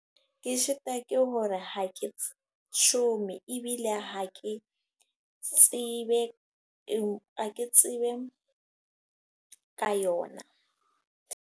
Ke short-a ke hore ha ke shome. Ebile ha ke tsebe, hake tsebe ka yona.